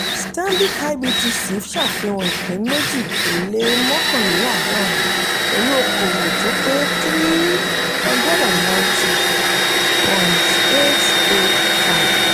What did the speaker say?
stanbic ibtc ṣàfihàn ìpín méjì ó lé mọ́kànléláàdọ́run pẹ̀lú okòwò tó pé three hundred ninety point eight zero five.